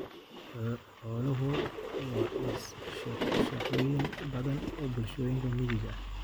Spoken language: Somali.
Xooluhu waa isha shaqooyin badan oo bulshooyinka miyiga ah.